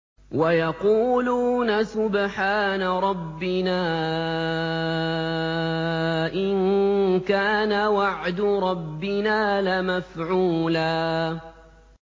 وَيَقُولُونَ سُبْحَانَ رَبِّنَا إِن كَانَ وَعْدُ رَبِّنَا لَمَفْعُولًا